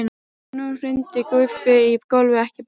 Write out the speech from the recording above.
Og nú hrundi Guffi í gólfið, ekki batnaði það!